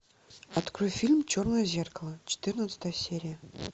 открой фильм черное зеркало четырнадцатая серия